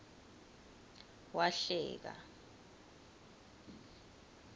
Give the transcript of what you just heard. wahleka